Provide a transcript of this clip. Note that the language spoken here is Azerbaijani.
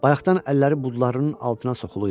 Bayaqdan əlləri budlarının altına soxuluydu.